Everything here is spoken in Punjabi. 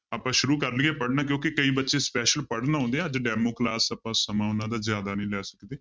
ਆਪਾਂ ਸ਼ੁਰੂ ਕਰ ਲਈਏ ਪੜ੍ਹਨਾ ਕਿਉਂਕਿ ਕਈ ਬੱਚੇ special ਪੜ੍ਹਨ ਆਉਂਦੇ ਆ ਅੱਜ demo class ਆਪਾਂ ਸਮਾਂ ਉਹਨਾਂ ਦਾ ਜ਼ਿਆਦਾ ਨੀ ਲੈ ਸਕਦੇ